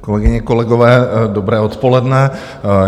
Kolegyně, kolegové, dobré odpoledne.